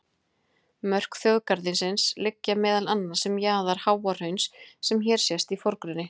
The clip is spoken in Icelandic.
Mörk þjóðgarðsins liggja meðal annars um jaðar Háahrauns sem hér sést í forgrunni.